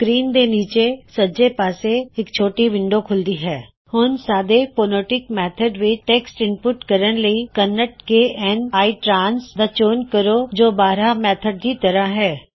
screen ਦੇ ਨੀਚੇ ਸੱਜੇ ਪਾਸੇ ਇੱਕ ਛੋਟੀ ਵਿੰਡੋ ਖੁਲਦੀ ਹੇ ਹੁਣ ਸਾਦੇ ਫੋਨੇਟਿਕ ਮੈਥਡ ਵਿੱਚ ਟੈੱਕਸਟ ਇਨਪੁੱਟ ਕਰਨ ਲਈ Kannada K N ITRANS ਦਾ ਚੋਣ ਕਰੋ ਜੋ ਬ੍ਰਾਹਾ ਮੈਥਡ ਦੀ ਤਰ੍ਹਾ ਹੇ